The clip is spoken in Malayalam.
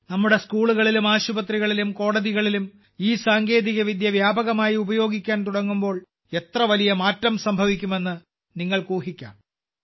നമ്മുടെ സ്കൂളുകളിലും ആശുപത്രികളിലും കോടതികളിലും ഈ സാങ്കേതികവിദ്യ വ്യാപകമായി ഉപയോഗിക്കാൻ തുടങ്ങുമ്പോൾ എത്ര വലിയ മാറ്റം സംഭവിക്കുമെന്ന് നിങ്ങൾക്ക് ഊഹിക്കാം